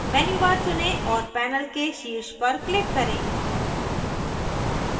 menu bar चुनें और panel के शीर्ष पर click करें